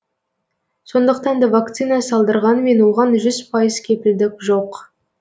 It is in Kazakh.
сондықтан да вакцина салдырғанмен оған жүз пайыз кепілдік жоқ